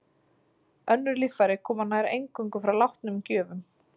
Önnur líffæri koma nær eingöngu frá látnum gjöfum.